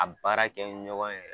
A baarakɛ ɲɔgɔn yɛrɛ